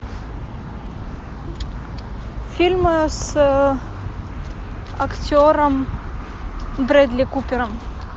фильмы с актером брэдли купером